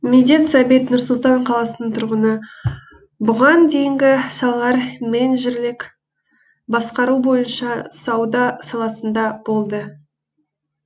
медет сәбит нұр сұлтан қаласының тұрғыны бұған дейінгі салалар менеджерлік басқару бойынша сауда саласында болды